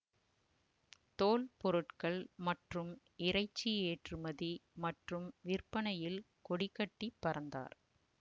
தோல் பொருட்கள் மற்றும் இறைச்சி ஏற்றுமதி மற்றும் விற்பனையில் கொடிகட்டி பறந்தார்